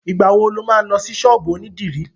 Ìgbà wo lo má lọ sí ṣọ́ọ̀bú ònídìrí?